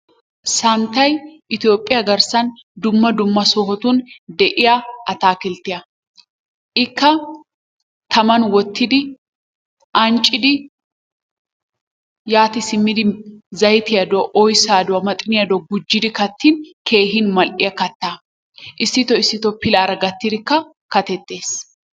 Santtay Ittiyophphiya garssan dumma dumma sohotun de'iya ataakilttiya. Ikka taman wottidi anccidi yaati simidi zayttiya dowa oyssaa dowa maxxiniya dowa gujjidi kattin keehi mal'iya kattaa. Issitoo issitoo pilaara gattidikka katetees.